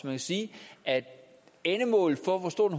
kan sige at endemålet for hvor stort